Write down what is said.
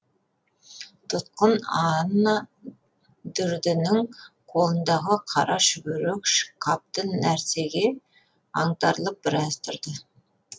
тұтқын аннадүрдінің қолындағы қара шүберек қапты нәрсеге аңтарылып біраз тұрды